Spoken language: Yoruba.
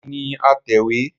Èmi ni atẹ̀wé